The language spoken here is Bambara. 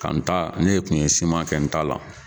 Ka n ta ne kun ye kɛ n ta la.